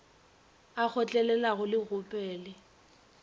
a kgotlelelang le go gopele